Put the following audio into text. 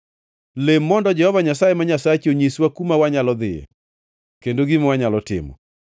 Lem mondo Jehova Nyasaye ma Nyasachi onyiswa kuma wanyalo dhiyoe kendo gima wanyalo timo.”